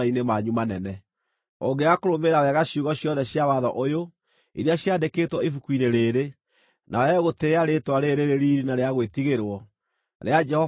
Ũngĩaga kũrũmĩrĩra wega ciugo ciothe cia watho ũyũ, iria ciandĩkĩtwo ibuku-inĩ rĩĩrĩ, na wage gũtĩĩa rĩĩtwa rĩĩrĩ rĩrĩ riiri na rĩa gwĩtigĩrwo, rĩa Jehova Ngai waku,